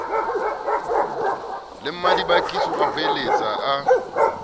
le mmadibakiso a hoeletsa a